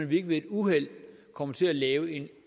vi ikke ved et uheld kommer til at lave en